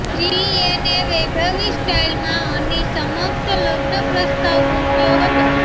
શ્રીયેને વૈભવી સ્ટાઈલમાં અની સમક્ષ લગ્ન પ્રસ્તાવ મૂક્યો હતો